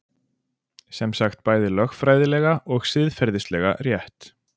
Semsagt bæði lögfræðilega og siðferðislega rétt